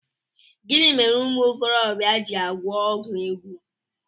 Gịnị mere umuokorobia ji agwọ ọgwụ ego?